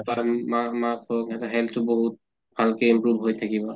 মা মাক হʼল সিহঁতৰ health তো বহুত ভালকে improve হৈ থাকিব